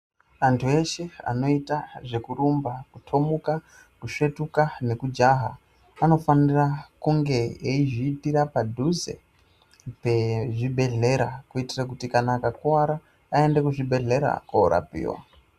Antu eshe anoita zvekurumba, kutomuka, kusvetuka nekujaha vanofanira kunge veizviitira panduze pezvibhedhlera kutira kuti kana akakuwara aende kuzvibhedhlera kundorapiwa.